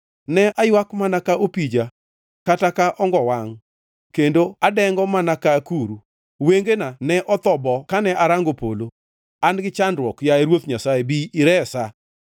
Ne aywak mana ka opija kata ka ongo-wangʼ kendo adengo mana ka akuru. Wengena ne otho bo kane arango polo. An gi chandruok, yaye Ruoth Nyasaye, bi iresa!”